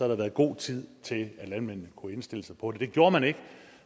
der været god tid til at landmændene kunne indstille sig på det men det gjorde man ikke og